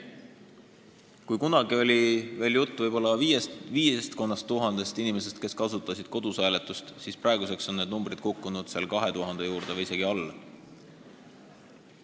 Kui kunagi oli jutt umbes 5000 inimesest, kes kasutasid kodus hääletust, siis praeguseks on see arv kukkunud 2000 juurde või isegi alla selle.